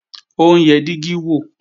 Ó ń yẹ dígí wò